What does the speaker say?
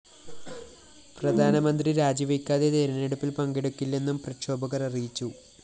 പ്രധാനമന്ത്രി രാജിവെയ്ക്കാതെ തെരഞ്ഞെടുപ്പില്‍ പങ്കെടുക്കില്ലെന്നും പ്രക്ഷോഭകര്‍ അറിയിച്ചു